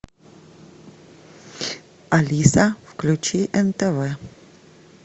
алиса включи нтв